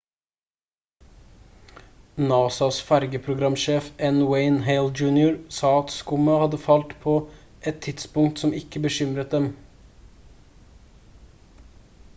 nasas fergeprogramsjef n. wayne hale jr. sa at skummet hadde falt «på et tidspunkt som ikke bekymret dem»